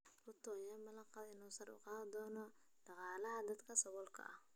Ruto ayaa ballan qaaday in uu sare u qaadi doono dhaqaalaha dadka saboolka ah.